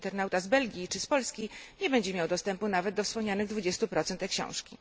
internauta z Belgii czy z Polski, nie będzie miał dostępu nawet do wspomnianych 20 e książki.